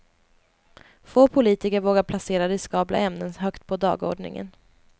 Få politiker vågar placera riskabla ämnen högt på dagordningen.